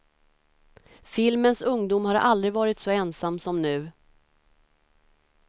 Filmens ungdom har aldrig varit så ensam som nu.